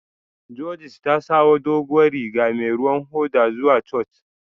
Judith ta sawo duguwan Riga mai ruwan hoda zuwa Church.